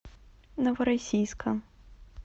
новороссийска